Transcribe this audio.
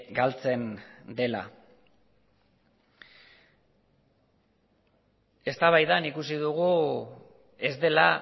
galtzen dela eztabaidan ikusi dugu ez dela